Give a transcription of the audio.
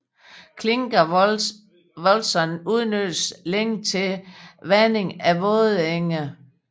Klingavälsån udnyttedes længe til vanding af vådenge